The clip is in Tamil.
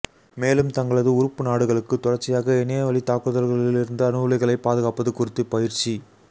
மேலும் தங்களது உறுப்பு நாடுகளுக்கு தொடர்ச்சியாக இணைய வழித் தாக்குதல்களில் இருந்து அணுவுலைகளைப் பாதுகாப்பது குறித்து பயிற்சி